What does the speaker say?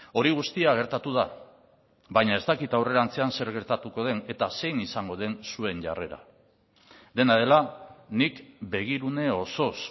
hori guztia gertatu da baina ez dakit aurrerantzean zer gertatuko den eta zein izango den zuen jarrera dena dela nik begirune osoz